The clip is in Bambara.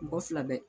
Mɔgɔ fila bɛ